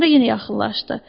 Sonra yenə yaxınlaşdı.